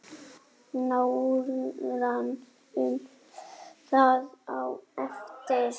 Nánar um það á eftir.